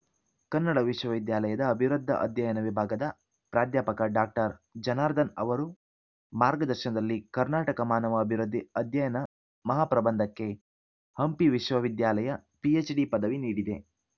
ಕನ್ನಡ ವಿಶ್ವವಿದ್ಯಾಲಯದ ಅಭಿವೃದ್ಧ ಅಧ್ಯಯನ ವಿಭಾಗದ ಪ್ರಾಧ್ಯಾಪಕ ಡಾಕ್ಟರ್ ಜನಾರ್ಧನ್ ಅವರು ಮಾರ್ಗದರ್ಶನದಲ್ಲಿ ಕರ್ನಾಟಕ ಮಾನವ ಅಭಿವೃದ್ಧಿ ಅಧ್ಯಯನ ಮಹಾಪ್ರಬಂಧಕ್ಕೆ ಹಂಪಿ ವಿಶ್ವವಿದ್ಯಾಲಯ ಪಿಎಚ್‌ಡಿ ಪದವಿ ನೀಡಿದೆ